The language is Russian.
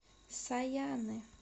саяны